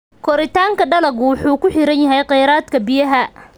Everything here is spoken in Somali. Koritaanka dalaggu wuxuu ku xiran yahay kheyraadka biyaha.